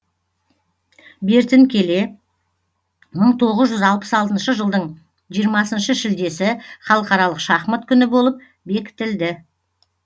бертін келе мың тоғыз жүз алпыс алтыншы жылдың жиырмасыншы шілдесі халықаралық шахмат күні болып бекітілді